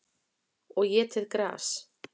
Og étið gras.